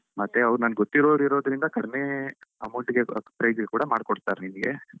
ಮತ್ತೆ ಅವರು ನನ್ಗೆ ಗೊತ್ತಿರೋರಿರೋದ್ರಿಂದ ಕಡಿಮೆ amount ಗೆ price ಗೆ ಕೂಡ ಮಾಡ್ಕೊಡ್ತಾರೆನಿನ್ಗೆ.